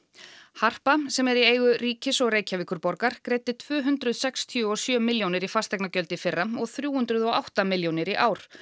harpa sem er í eigu ríkis og Reykjavíkurborgar greiddi tvö hundruð sextíu og sjö milljónir í fasteignagjöld í fyrra og þrjú hundruð og átta milljónir í ár